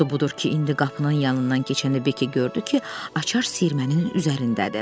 Budur ki, indi qapının yanından keçəndə Beqi gördü ki, açar siyirmənin üzərindədir.